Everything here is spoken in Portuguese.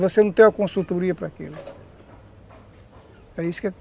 Você não ter uma consultoria para aquilo. É isso que